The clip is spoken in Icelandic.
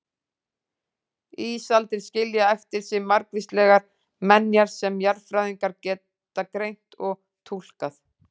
Ísaldir skilja eftir sig margvíslegar menjar sem jarðfræðingar geta greint og túlkað.